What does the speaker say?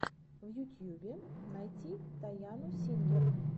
в ютьюбе найди тайану сингер